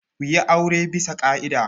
Ku yi aure bisa ƙa'ida.